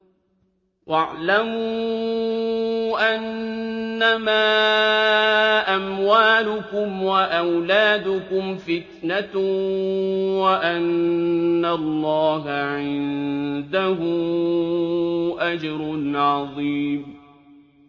وَاعْلَمُوا أَنَّمَا أَمْوَالُكُمْ وَأَوْلَادُكُمْ فِتْنَةٌ وَأَنَّ اللَّهَ عِندَهُ أَجْرٌ عَظِيمٌ